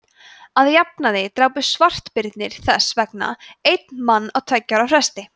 að jafnaði drápu svartbirnir þess vegna einn mann á tveggja ára fresti